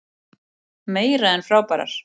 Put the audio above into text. Meira en frábærar.